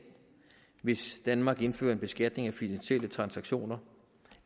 hvis danmark indfører en beskatning af finansielle transaktioner